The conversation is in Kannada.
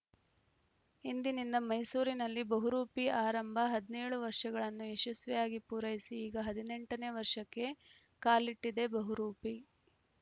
ಇಂದಿನಿಂದ ಮೈಸೂರಿನಲ್ಲಿ ಬಹುರೂಪಿ ಆರಂಭ ಹದಿನೇಳು ವರ್ಷಗಳನ್ನು ಯಶಸ್ವಿಯಾಗಿ ಪೂರೈಸಿ ಈಗ ಹದಿನೆಂಟ ನೇ ವರ್ಷಕ್ಕೆ ಕಾಲಿಟ್ಟಿದೆ ಬಹುರೂಪಿ